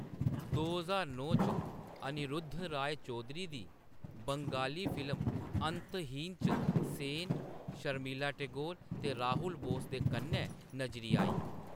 दो ज्हार नौ च, अनिरुद्ध रॉय चौधरी दी बंगाली फिल्म अंतहीन च सेन शर्मिला टैगोर ते राहुल बोस दे कन्नै नजरी आईं।